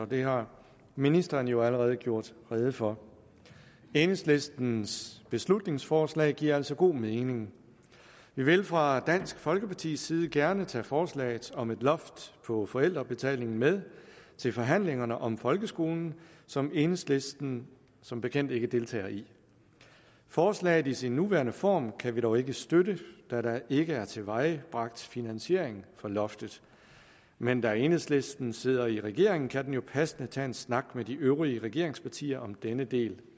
det har ministeren jo allerede redegjort for enhedslistens beslutningsforslag giver altså god mening vi vil fra dansk folkepartis side gerne tage forslaget om et loft over forældrebetalingen med til forhandlingerne om folkeskolen som enhedslisten som bekendt ikke deltager i forslaget i sin nuværende form kan vi dog ikke støtte da der ikke er tilvejebragt finansiering for loftet men da enhedslisten sidder i regering kan man jo passende tage en snak med de øvrige regeringspartier om denne del